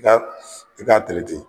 I ka i k'a